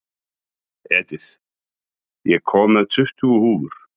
Edith, ég kom með tuttugu húfur!